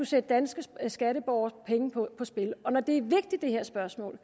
sætte danske skatteborgeres penge på spil når det her spørgsmål